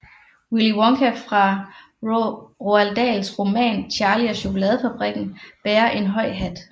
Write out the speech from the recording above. Willy Wonka fra Roald Dahls roman Charlie og Chokoladefabrikken bærer en høj hat